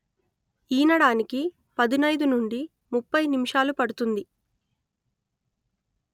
ఈనడానికి పదునయిదు నుండి ముప్ఫై నిమిషాలు పడుతుంది